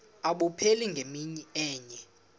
abupheli ngemini enye